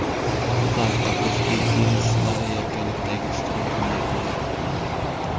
Shu tariqa, o‘zbek tennischilari yakkalikdagi ishtirokini yakunladi.